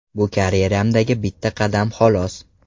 Bu karyeramdagi bitta qadam, xolos.